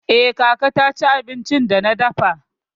Eh, kaka ta ci abincin da na dafa.